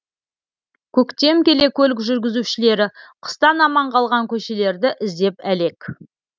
көктем келе көлік жүргізушілері қыстан аман қалған көшелерді іздеп әлек